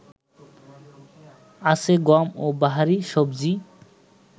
আছে গম ও বাহারি সবজি